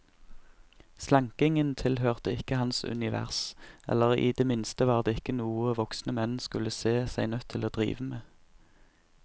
Slankingen tilhørte ikke hans univers, eller i det minste var det ikke noe voksne menn skulle se seg nødt til å drive med.